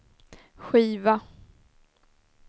skiva